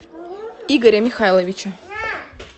игоря михайловича